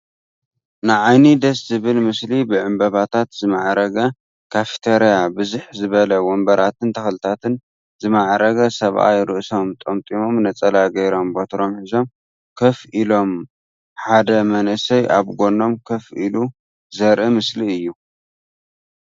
ንዓይኒ ደስ ዝብል ምስሊ ብዕምበባታት ዝማዕረገ ካፊተርያ ብዝሕ ዝበለ ወንበራትን ተክልታትን ዝማዕረገ ሰብኣይ ርእሶም ጠምጢሞም ነፀላ ገይሮም በትሮም ሒዞም ኮፍ ኢሎም ሓደ መንእሰይ ኣብ ጎኖም ኮፍ ኢሉ ዘርኢ ምስሊ እዩ።